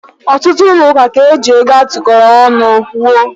Ọtụtụ ụlọ ụka ka eji ego a tụkọọrọ ọnụ wuo.